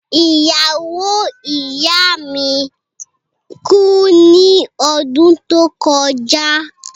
Iyawo iya mi ku ni ọdun to kọja.